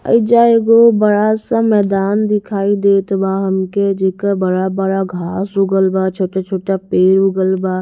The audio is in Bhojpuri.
एइजा एगो बड़ा सा मैदान दिखाई देत बा हमके जेके बड़ा-बड़ा घास उगल ब छोटा-छोटा पेड़ उगल बा--